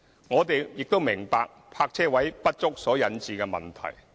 我們亦明白泊車位不足所引致的問題。